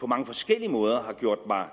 på mange forskellige måder har gjort mig